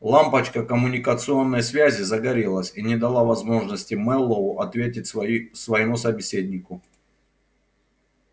лампочка коммуникационной связи загорелась и не дала возможности мэллоу ответить свои своему собеседнику